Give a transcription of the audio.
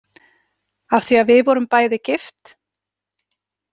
Af því að við vorum bæði gift?